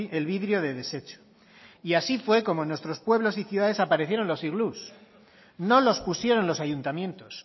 el vidrio de desecho y así fue como en nuestros pueblos y ciudades aparecieron los iglús no los pusieron los ayuntamientos